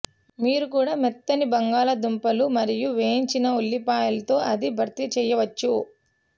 మీరు కూడా మెత్తని బంగాళాదుంపలు మరియు వేయించిన ఉల్లిపాయలు తో అది భర్తీ చేయవచ్చు